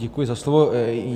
Děkuji za slovo.